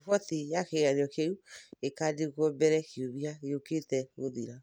Riboti ya kĩgeranio kĩu ĩkaandĩkwo mbere kiumia gĩũkĩte guthĩra